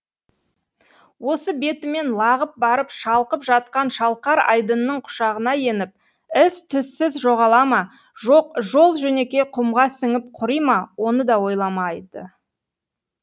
осы бетімен лағып барып шалқып жатқан шалқар айдынның құшағына еніп із түзсіз жоғала ма жоқ жол жөнекей құмға сіңіп құри ма оны да ойламайды